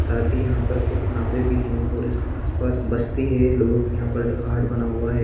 साथ ही यहा पर कुछ नावे भी है और इसके आसपास बस्ती है लोगो की यहा पर हाट बना हुआ है।